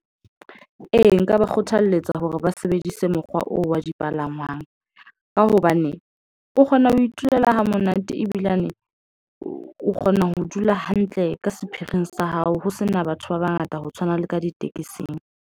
Ee, nka ba kgothaletsa hore ba sebedise mokgwa oo wa dipalangwang, ka hobane o kgona ho itulela ha monate ebilane o kgona ho dula hantle ka sephiring sa hao. Ho sena batho ba bangata ho tshwana le ka ditekesing.